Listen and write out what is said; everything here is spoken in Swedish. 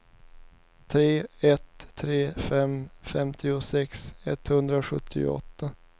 tre ett tre fem femtiosex etthundrasjuttioåtta